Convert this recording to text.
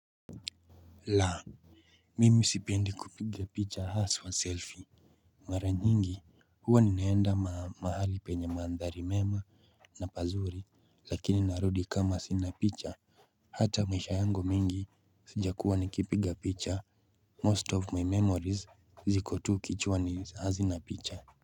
Laa! Mimi sipendi kupiga picha haswa selfie. Mara nyingi huwa ninaenda mahali penye mandhari mema na pazuri. Lakini narudi kama sina picha. Hata maisha yangu mingi sijakuwa nikipiga picha. Most of my memories zikovtu kichwani hazina picha.